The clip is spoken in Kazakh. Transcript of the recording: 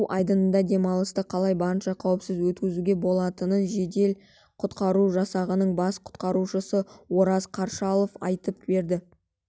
су айдынында демалысты қалай барынша қауіпсіз өткізуге болатынын жедел-құтқару жасағының бас құтқарушысы ораз қаршалов айтып берді